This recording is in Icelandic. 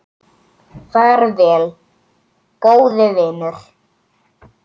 Far vel, góði vinur.